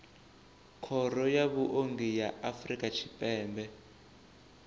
khoro ya vhuongi ya afrika tshipembe